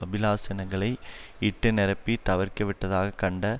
அபிலாசனங்களை இட்டுநிரப்பித் தவிற்கவிட்டதாக கண்ட